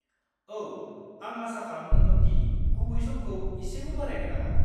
औ, आं आसा खालामदोंमोन दि गुबै समखौ एसेबो बारायनो नाङा।